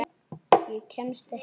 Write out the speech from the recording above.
Ég kemst ekki lengra.